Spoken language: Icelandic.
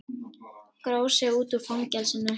Gróf sig út úr fangelsinu